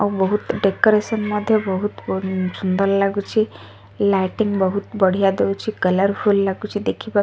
ଆଉ ବହୁତ ଡେକୋରେସନ ମଧ୍ୟ ବହୁତ ପୂ ସୁନ୍ଦର ଲାଗୁଛି ଲାଇଟିଙ୍ଗ ବହୁତ ବଢିଆ ଦୋଉଛି କଲରଫୁଲ ଲାଗୁଛି ଦେଖିବାକୁ।